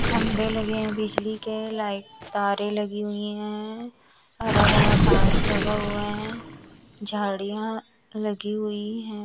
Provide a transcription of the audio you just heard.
खंभे लगे हैं बिजली के लाइट तारें लगी हुई है हरा भरा घास लगा हुए हैं झाड़ियां लगी हुई हैं।